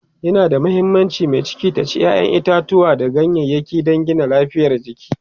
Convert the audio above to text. yana da muhimmanci mai ciki ta ci ƴaƴan itatauwa da ganyayaki dan Gina lafiyar jiki